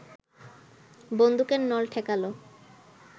বন্দুকের নল ঠেকাল